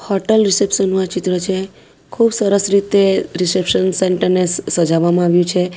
Hotel reception નું આ ચિત્ર છે ખુબ સરસ રીતે રિસેપ્શન સેન્ટર ને સ સજાવવામાં આવ્યું છે.